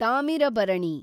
Thamirabarani